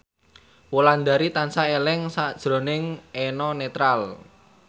Wulandari tansah eling sakjroning Eno Netral